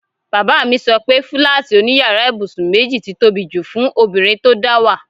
Bàbá mi so pe fúláàtì òní yàrá ibùsùn méjì ti tóbi jù fún obìnrin tó dáwà.